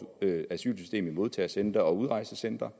asylsystem i modtagecentre og udrejsecentre